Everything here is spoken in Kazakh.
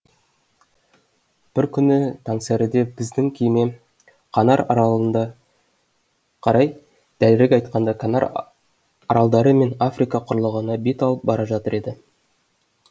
бір күні таңсәріде біздің кеме канар аралығында қарай дәлірек айтқанда канар аралдары мен африка құрлығына бет алып бара жатыр еді